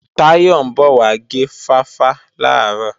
Táyọ̀ ń bọ̀ wá gé fáfá làárọ̀